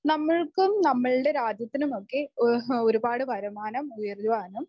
നമ്മൾക്കും നമ്മളുടെ രാജ്യത്തിനുമൊക്കെ ആഹ്‌ ഒരുപാട് വരുമാനം ഉയരുവാനും